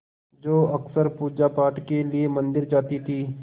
जो अक्सर पूजापाठ के लिए मंदिर जाती थीं